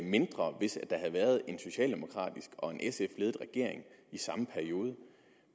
mindre hvis der havde været en socialdemokraterne og sf i samme periode